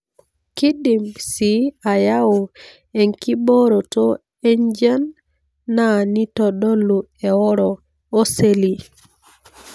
kindim c ayau enkiboroto enjian na nitodolu eoro oseli.